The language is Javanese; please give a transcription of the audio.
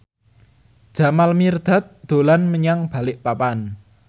Jamal Mirdad dolan menyang Balikpapan